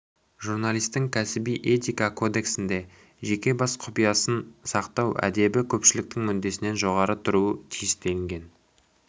журналисің кәсіби этика кодексінде жеке бас құпиясын сақтау әдебі көпшілік мүддесінен жоғары тұруы тиіс делінген